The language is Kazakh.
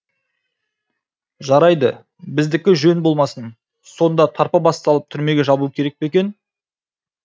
жарайды біздікі жөн болмасын сонда тарпа бас салып түрмеге жабу керек пе екен